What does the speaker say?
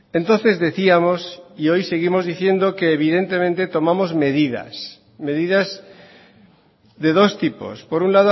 entonces decíamos y hoy seguimos diciendo que evidentemente tomamos medidas medidas de dos tipos por un